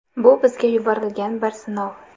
Bu bizga yuborilgan bir sinov.